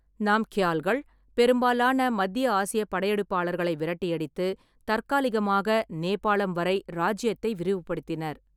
நாம்க்யால்கள் பெரும்பாலான மத்திய ஆசிய படையெடுப்பாளர்களை விரட்டியடித்து, தற்காலிகமாக நேபாளம் வரை இராச்சியத்தை விரிவுபடுத்தினர்.